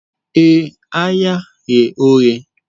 Ee, ahịa ghe oghe